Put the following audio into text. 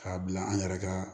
K'a bila an yɛrɛ ka